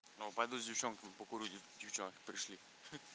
ну пойду с девчонками покурю девчонки пришли ха-ха